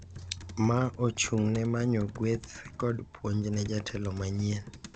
Ma ochung’ne manyo gueth kod puonj ne jatelo manyien.